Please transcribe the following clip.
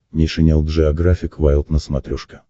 нейшенел джеографик вайлд на смотрешке